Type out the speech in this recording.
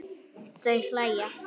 Þau hlæja.